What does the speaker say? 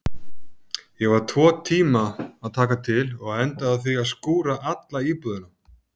Ég var tvo tíma að taka til og endaði á því að skúra alla íbúðina.